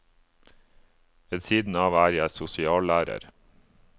Ved siden av er jeg sosiallærer.